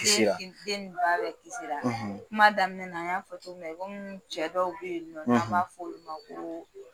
Kisira den ni ba bɛɛ kisira kuma daminɛ na an y'a fɔ cogo min na i komi cɛ dɔw bɛ yen nɔ n'an b'a fɔ olu ma ko